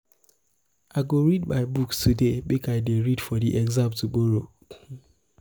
i go read my books today make i dey ready for di exam tomorrow.